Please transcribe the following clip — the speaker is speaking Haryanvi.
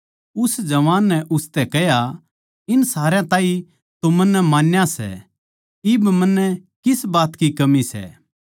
उस जवान नै उसतै कह्या इन सारया ताहीं तो मन्नै मान्या सै इब मन्नै किस बात की कमी सै